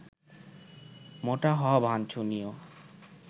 মোটা হওয়া বাঞ্ছনীয়